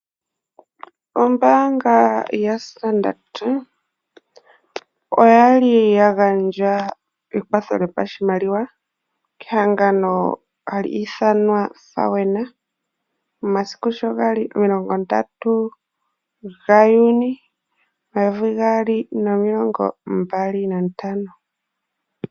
Ombaanga yaStandard oya li ya gandja ekwatho lyoshimaliwa kehangano hali ithanwa FAWENA momasiku sho ga li 30 Juni 2025.